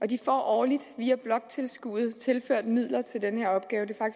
de får årligt via bloktilskuddet tilført midler til den her opgave det